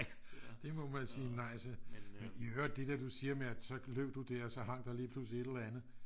det må man sige nej til jeg hører det der du siger med at så løb du der og så hang der lige pludselig et eller andet